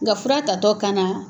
Nga fura tatɔ kana